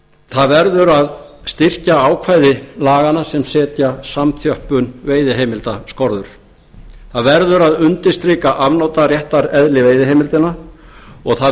það verður að styrkja ákvæði laganna sem setja samþjöppun veiðiheimilda skorður það verður að undirstrika afnotaréttareðli veiðiheimildanna og það